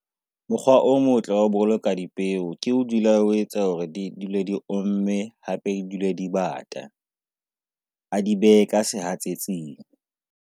Mokgwa o motle ho boloka dipeo ke o dula o etsa hore di dule di omme, hape dule di bata. A di behe ka sehatsetsing.